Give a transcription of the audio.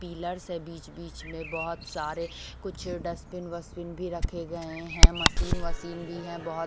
pillars है बीच-बीच मे बहुत सारे कुछ डस्टबिन वस्टबिन भी रखे गए है मशीन वशीन भी है बहोत --